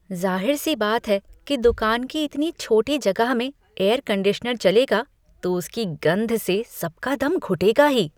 ज़ाहिर सी बात है कि दुकान की इतनी छोटी जगह में एयर कंडीशनर चलेगा तो उसकी गंध से सबका दम घुटेगा ही।